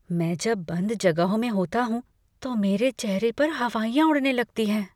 मैं जब बंध जगहों में होता हूँ तो मेरे चेहरे पर हवाइयाँ उड़ने लगती हैं।